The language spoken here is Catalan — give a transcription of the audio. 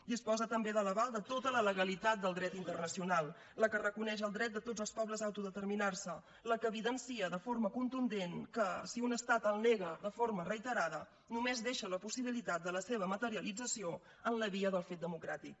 disposa també de l’aval de tota la legalitat del dret internacional la que reconeix el dret de tots els pobles a autodeterminar se la que evidencia de forma contundent que si un estat el nega de forma reiterada només deixa la possibilitat de la seva materialització en la via del fet democràtic